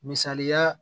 Misali la